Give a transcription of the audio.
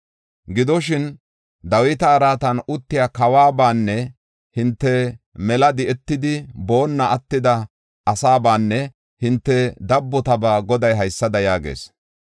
Gidoshin, Dawita araatan uttiya kawabanne hinte mela di7etidi boonna attida asaabanne hinte dabbotabaa Goday haysada yaagees.